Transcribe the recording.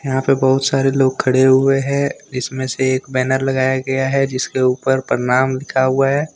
यहां पे बहुत सारे लोग खड़े हुए हैंइसमें से एक बैनर लगाया गया हैजिसके ऊपर प्रणाम लिखा हुआ है।